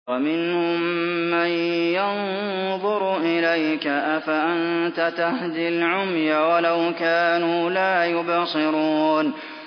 وَمِنْهُم مَّن يَنظُرُ إِلَيْكَ ۚ أَفَأَنتَ تَهْدِي الْعُمْيَ وَلَوْ كَانُوا لَا يُبْصِرُونَ